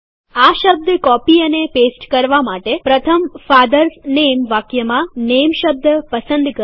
આ શબ્દ કોપી અને પેસ્ટ કરવા માટે પ્રથમ ફાધર્સ નેમ વાક્યમાં નેમ શબ્દ પસંદ કરો